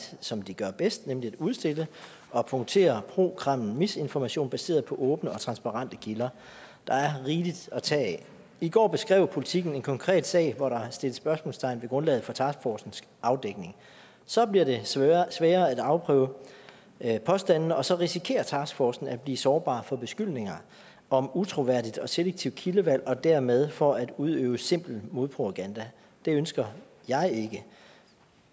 som de gør bedst nemlig at udstille og punktere pro kreml misinformation baseret på åbne og transparente kilder der er rigeligt at tage af i går beskrev politiken en konkret sag hvor der sættes spørgsmålstegn ved grundlaget for taskforcens afdækning så bliver det sværere sværere at afprøve påstande og så risikerer taskforcen at blive sårbar for beskyldninger om utroværdigt og selektivt kildevalg og dermed for udøvelse af simpel modpropaganda det ønsker jeg ikke